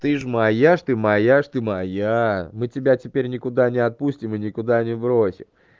ты же моя же ты моя жизнь ты моя мы тебя теперь никуда не отпустим и никуда не бросит